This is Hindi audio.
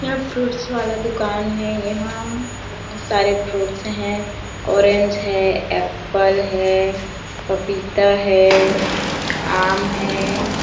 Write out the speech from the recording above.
यहाँ फ्रूट्स वाला दुकान है यहाँ यहाँ बहोत सारे फ्रूट्स है ऑरेंज है एप्पल है पपीता है आम है।